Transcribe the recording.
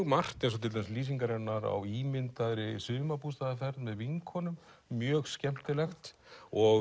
margt eins og til dæmis lýsingar hennar á ímyndaðri sumarbústaðarferð með vinkonum mjög skemmtilegt og